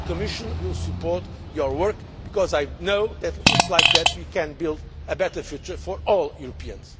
The Commission will support your work because I know that is the way we can build a better future for all Europeans.